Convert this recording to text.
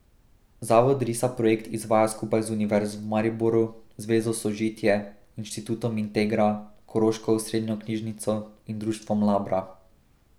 Zavod Risa projekt izvaja skupaj z Univerzo v Mariboru, Zvezo Sožitje, Inštitutom Integra, Koroško osrednjo Knjižnico in Društvom Labra.